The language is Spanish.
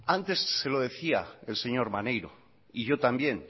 antes se lo decía el señor maneiro y yo también